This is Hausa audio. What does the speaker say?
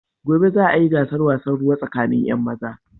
Gobe za a yi gasar wasan ruwa tsakanin 'yan maza.